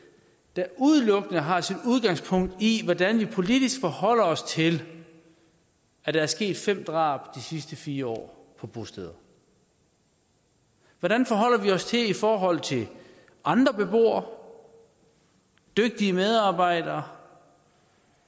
der udelukkende har sit udgangspunkt i hvordan vi politisk forholder os til at der er sket fem drab de sidste fire år på bosteder hvordan forholder vi os i forhold til andre beboere dygtige medarbejdere